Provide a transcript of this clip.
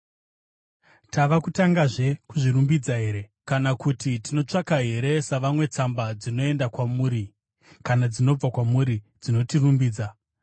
Tava kutangazve kuzvirumbidza here? Kana kuti tinotsvaka here, savamwe, tsamba dzinoenda kwamuri kana dzinobva kwamuri dzinotirumbidza?